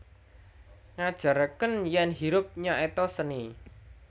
ngajarkeun yén Hirup nyaéta seni